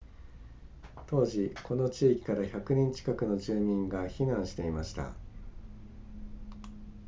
当時この地域から100人近くの住民が避難していました